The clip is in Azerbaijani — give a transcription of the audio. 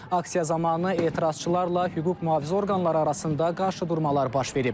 Aksiya zamanı etirazçılarla hüquq-mühafizə orqanları arasında qarşıdurmalar baş verib.